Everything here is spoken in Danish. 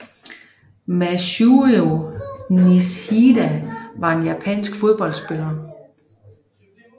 Masujiro Nishida var en japansk fodboldspiller